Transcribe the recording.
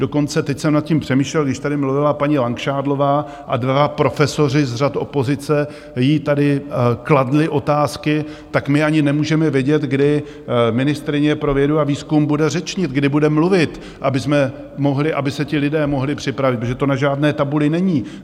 Dokonce teď jsem nad tím přemýšlel, když tady mluvila paní Langšádlová, a dva profesoři z řad opozice jí tady kladli otázky, tak my ani nemůžeme vědět, kdy ministryně pro vědu a výzkum bude řečnit, kdy bude mluvit, aby se ti lidé mohli připravit, protože to na žádné tabuli není.